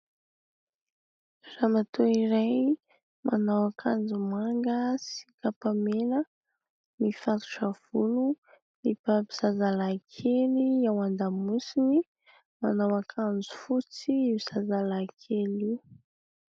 Ramatoa iray manao akanjo manga sy kapa mena, mifatotra volo, mibaby zazalahy kely ao an-damosiny, manao akanjo fotsy io zazalahy kely io.